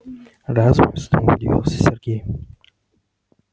разве снова удивился сергей